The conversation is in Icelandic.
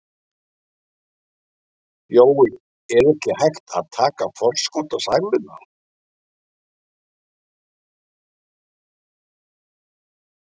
Jói, er ekki hægt að taka forskot á sæluna?